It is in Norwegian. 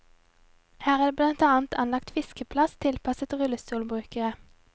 Her er det blant annet anlagt fiskeplass tilpasset rullestolbrukere.